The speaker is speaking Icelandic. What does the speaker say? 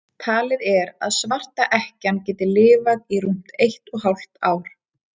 Talið er að svarta ekkjan geti lifað í rúmt eitt og hálft ár.